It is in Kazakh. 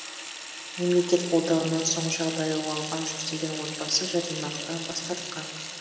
мемлекет қолдауынан соң жағдайы оңалған жүздеген отбасы жәрдемақыдан бас тартқан